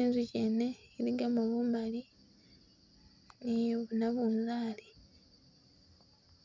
inzukyi yene iligamo bumali ni buna bunzali